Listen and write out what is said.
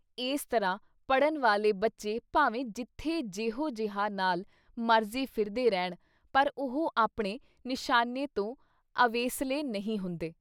ਇਸ ਤਰ੍ਹਾਂ ਪੜ੍ਹਨ ਵਾਲੇ ਬੱਚੇ ਭਾਵੇਂ ਜਿੱਥੇ ਜੇਹੋ ਜਿਹਾਂ ਨਾਲ ਮਰਜ਼ੀ ਫਿਰਦੇ ਰਹਿਣ ਪਰ ਉਹ ਆਪਣੇ ਨਿਸ਼ਾਨੇ ਤੋਂ ਅਵੇਸਲੇ ਨਹੀਂ ਹੁੰਦੇ।